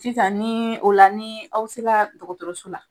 Sisan ni o la ni aw sela dɔgɔtɔrɔso la